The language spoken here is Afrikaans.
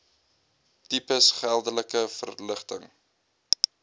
tipes geldelike verligting